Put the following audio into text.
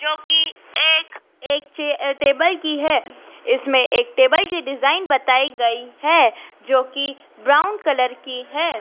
जोकि एक एक चे टेबल की है इसमें एक टेबल की डिजाइन बताई गई है जोकि ब्राउन कलर की है।